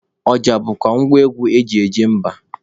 Ọja bụkwa ngwa egwu eji eje mba.